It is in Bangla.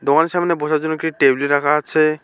তোমাদের সামনে বসার জন্য একটি টেবিল রাখা আছে।